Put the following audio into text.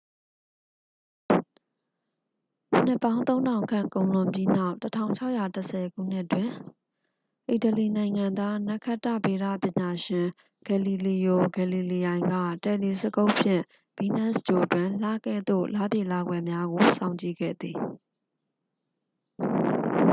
နှစ်ပေါင်း သုံးထောင်ခန့် ကုန်လွန်ပြီးနောက် 1610 ခုနှစ်တွင် အီတလီနိုင်ငံသား နက္ခတ္တဗေဒပညာရှင် ဂယ်လီလီယို ဂယ်လီလီယိုင်က တယ်လီစကုပ်ဖြင့် ဗီးနပ်စ်ဂြိုဟ်တွင် လကဲ့သို့ လပြည့်လကွယ်များကို စောင့်ကြည့်ခဲ့သည်